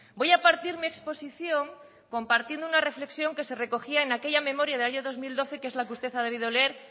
voy a partir mi exposición compartiendo una reflexión que se recogía en aquella memoria del año dos mil doce que es la que usted ha debido leer